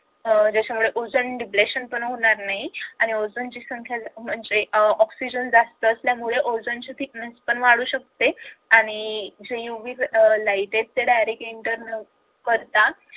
त्याच्यामुळे ozone defletion पण होणार नाही रेशन पण होणार नाही आणि ozone चे संख्या जास्त असल्यामुळे आणि oxygen जास्त असल्यामुळे ozone चे fitness पण वाढू शकते आणि जे UVlight directly internal पडत